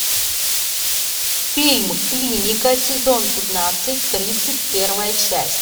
фильм клиника сезон пятнадцать тридцать первая часть